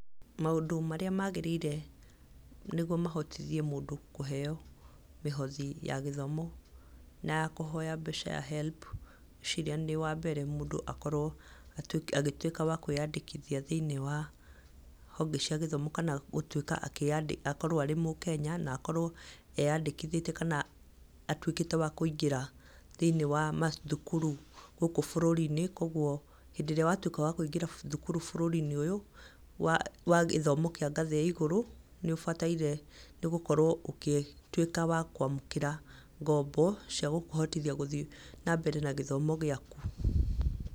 Mandũ marĩa magĩrĩire nĩguo mahotithie mũndũ kũheo mĩhothi ya gĩthomo na ya kũhoya mbeca ya HELB, ngwĩciria wa mbere nĩ mũndũ akorwo agĩtuĩka wa kwĩyandĩkithia thĩiniĩ wa honge cia gĩthomo kana gũtuĩka akĩyandĩkithia akorwo arĩ Mũkenya na akorwo eyandĩkithĩtie kana atuĩkĩte wa kũingĩra thĩiniĩ wa mathukuru gũkũ bũrũri-inĩ, kuoguo hĩndĩ ĩrĩa watuĩka wa kũingĩra thukuru gũkũ bũrũri-inĩ ũyũ, wa gĩthomo kĩa ngathĩ ya igũrũ, nĩũbataire nĩgũkorwo ũgĩtuĩka wa kwamũkĩra ngombo cia gũkũhotithia gũthiĩ na mbere na gĩthomo gĩaku.